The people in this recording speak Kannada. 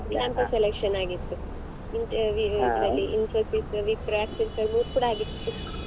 Campus selection ಆಗಿತ್ತು ಈ ಇದ್ರಲ್ಲಿ Infosys Wipro Accenture ಮೂರ್ ಕೂಡ ಆಗಿತ್ತು.